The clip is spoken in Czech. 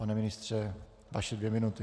Pane ministře, vaše dvě minuty.